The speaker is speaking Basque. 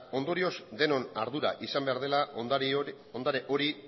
ondorioz denon ardura izan behar dela ondare hori